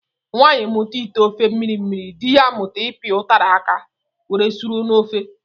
Nwanyi mụta ite ofe mmiri mmiri, dị ya amụta ipi utara áká were suru n'ofe.